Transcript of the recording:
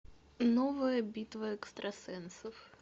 новая битва экстрасенсов